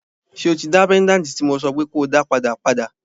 So tí dá péńdàtì tí mo sọ pé ko dá padà, padà?